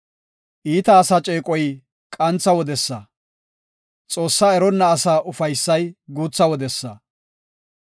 Iita asa ceeqoy qantha wodesa; Xoossaa eronna asaa ufaysay guutha wodesa.